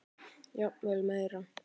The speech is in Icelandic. Jafnvel meira.